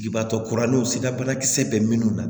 Ibaatɔ kuranɛw sida banakisɛ bɛ minnu na